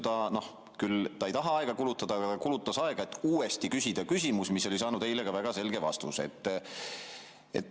Ja seetõttu, kuigi ta ei taha aega kulutada, ta ikkagi kulutas aega, et uuesti küsida küsimus, mis oli eile saanud väga selge vastuse.